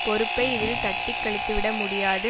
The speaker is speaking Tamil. பொறுப்பை இதில் தட்டிக்கழித்து விட முடியாது